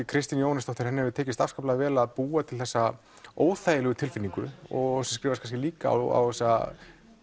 Kristínu Jóhannesdóttur hefur tekist vel að búa til þessa óþægilegu tilfinningu og skrifast kannski líka á þessa